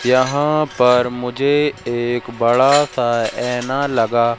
यहां पर मुझे एक बड़ा सा एना लगा--